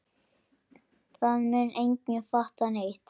Það mun enginn fatta neitt.